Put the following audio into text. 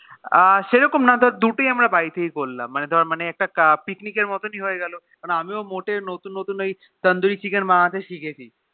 আহ সেরকম না ধরে দুটোই আমরা বাড়িতে করলাম মানে ধরে একটা Picnic এর মতন হয়ে গেলো আমি মোতে ওই Tandoori chicken বানাতে শিখেছি